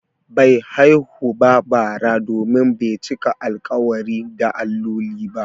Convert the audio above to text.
Bai haihu ba bara domin bai cika alƙawari da alloli ba.